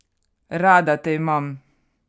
Rada te imam!